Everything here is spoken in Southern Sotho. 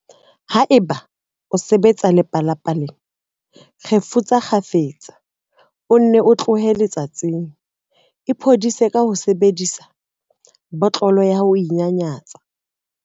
Haeba o sebetsa lepalapaleng, kgefutsa kgafetsa o nne o tlohe letsatsing. Iphodise ka ho sebedisa botlolo ya ho inyanyatsa.